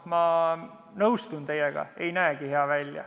Ma nõustun teiega, see ei näe hea välja.